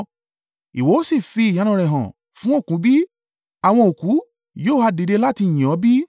Ìwọ ó fi iṣẹ́ ìyanu rẹ hàn fún òkú bi? Àwọn òkú yóò ha dìde láti yìn ọ́ bí?